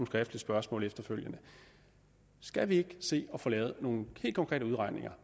skriftligt spørgsmål efterfølgende skal vi ikke se at få lavet nogle helt konkrete udregninger